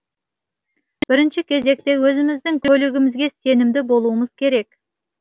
бірінші кезекте өзіміздің көлігімізге сенімді болуымыз керек